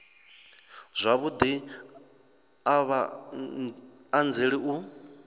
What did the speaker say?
zwavhudi a vha anzeli u